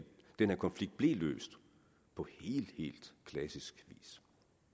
den her konflikt blev løst på helt helt klassisk vis